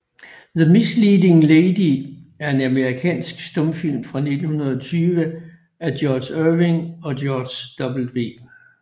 The Misleading Lady er en amerikansk stumfilm fra 1920 af George Irving og George W